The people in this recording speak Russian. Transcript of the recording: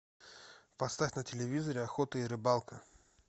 поставь на телевизоре охота и рыбалка